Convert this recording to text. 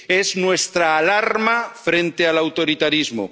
Es nuestra alarma frente al autoritarismo